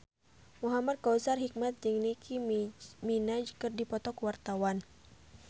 Muhamad Kautsar Hikmat jeung Nicky Minaj keur dipoto ku wartawan